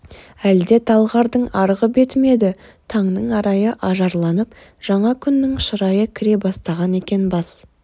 әлде талғардың арғы беті ме еді таңның арайы ажарланып жаңа күннің шырайы кіре бастаған екен бас